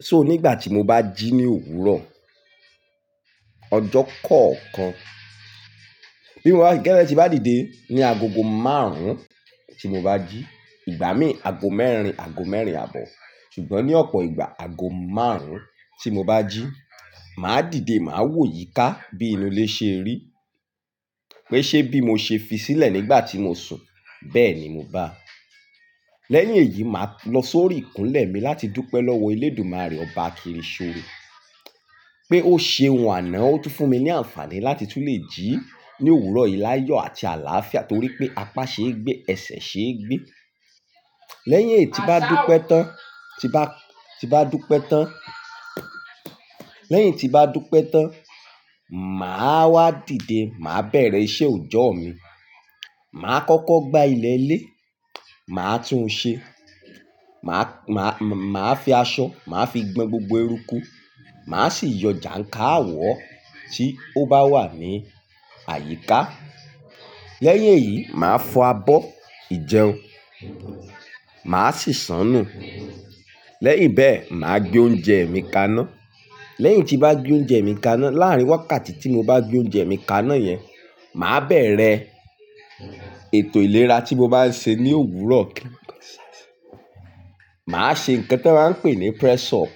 So nígbà tí mo bá jí ní òwúrọ̀, ọjọ́ kọ̀ọ̀kan, bí mo bá kíkẹ́ ẹni tí bá dìde, ni ago ogó márùn-ún tí mo bá jí, ìgbà mí ago mẹ́rin, ago mẹ́rin àbọ̀, ṣùgbọ́n ní ọ̀pọ̀ ìgbà ago márùn-ún tí mo bá jí, màá dìde, màá wò yíká bí inú lé ṣe rí, pé ṣé bí mo ṣe fi sílẹ̀ nígbà tí mo sùn, bẹ́ẹ̀ ni mo bá. Lẹ́yìn èyí, màá lọ sórí ìkúnlẹ̀ mi láti dúpẹ́ lọ́wọ́ Elédùmarè ọba akiri ṣore, pé ó ṣe ohun àná ó tun fún mi ní àǹfààní láti tún lè jí ní òwúrọ̀ yìí láyọ̀ àti àláàfia torí pé apá ṣe é gbé, ẹsẹ̀ ṣe é gbé. Lẹ́yìn tí bá dúpẹ́ tán, tí bá, tí bá dúpẹ́ tán, lẹ́yìn tí bá dúpẹ́ tán, màá wá dìde, màá bẹ̀rẹ̀ iṣẹ́ òjọ́ mi. Màá kọ́kọ́ gbá ilẹ̀ ilé, màá tún un ṣe, màá, màá, màá fi aṣọ, màá fi gbon gbogbo eruku, màá sì yọ jàǹkà àwọ̀ tí ó bá wà ní àyíká. Lẹ́yìn èyí, màá fọ abọ́ ìjẹun, màá sì sanù. Lẹ́yìn bẹ́ẹ̀, màá gbé oúnjẹ mi kaná. Lẹ́yìn tí bá gbé oúnjẹ mi kaná, láàárín wákàtí tí mo bá gbé oúnjẹ mi kaná yẹn, màá bẹ̀rẹ̀ ètò ìlera tí mo bá ń ṣe ní òwúrọ̀. Màá ṣe nǹkan tí wọ́n ń pè ní press-up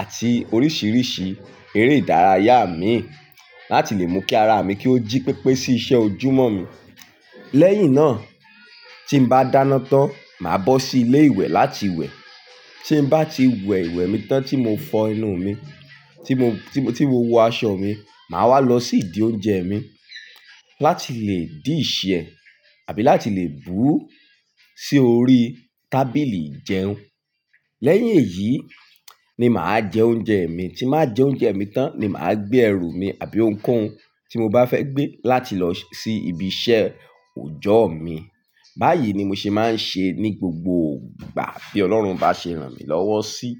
àti oríṣiríṣi eré ìdárayá mi láti lè mú kí ara mi kí ó jí pépé sí iṣẹ́ ojúmọ́ mi. Lẹ́yìn náà, tí n bá dáná tán, màá bọ́ sí ilé ìwẹ̀ láti wẹ̀. Tí n bá ti wẹ̀ ìwẹ̀ mi tán tí mo fọ enú mi, tí mo, tí mo, tí mo wọ aṣọ mi, màá wá lọ sí ìdí oúnjẹ mi láti lè dì ì ṣẹ̀ àbí láti lè bú sí orí tábìlì ìjẹun. Lẹ́yìn èyí ni màá jẹ oúnjẹ mi, tí màá jẹ oúnjẹ mi tán ni màá gbé ẹrù mi àbí ohunkóhun tí mo bá fẹ́ gbé láti lọ sí ibi iṣẹ́ òjọ́ mi. Báyìí ni mo ṣe máa ń ṣe ní gbogbo ìgbà tí Ọlọ́run bá ṣe ràn mí lọ́wọ́ sí.